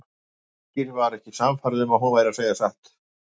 Birkir var ekki sannfærður um að hún væri að segja satt.